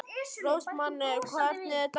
Rósmann, hvernig er dagskráin?